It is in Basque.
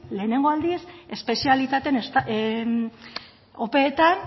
lehenengo aldiz espezialitate opeetan